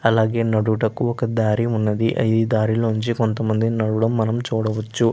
అలాగే నడువుటకి ఒక దారి ఉన్నది. ఈ దారిలో నుంచి కొంతమంది నడవడం మనం చూడవచ్చు.